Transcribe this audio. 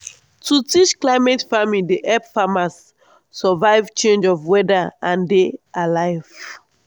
to teach climate farming dey help farmers survive change of weather and dey alive.